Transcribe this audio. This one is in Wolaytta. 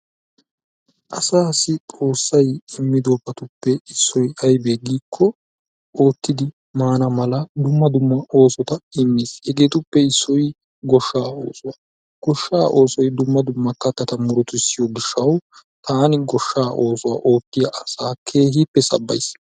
Asaasi xoossay immidobatuppe issoy aybee giikko oottidi maana dumma dumma oosota immiis. hegeetuppe issoy gooshshaa oossuwaa. Gooshshaa oosoy dumma dumma kattaata murutisiyoo giishshawu taani gooshshaa oosuwa ootiyaa asaa keehippe sabbayis.